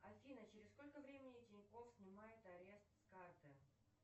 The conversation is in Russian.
афина через сколько времени тинькофф снимают арест с карты